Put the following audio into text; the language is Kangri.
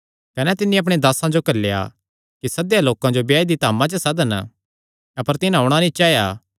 कने तिन्नी अपणे दासां जो घल्लेया कि सद्देयो लोकां जो ब्याह दी धामा च सदन अपर तिन्हां औणां नीं चाया